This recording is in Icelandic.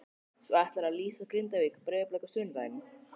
Svo ætlarðu að lýsa Grindavík- Breiðablik á sunnudaginn?